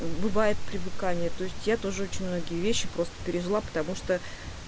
бывает привыкание то есть я тоже очень многие вещи просто переживала потому что